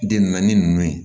Den naani ninnu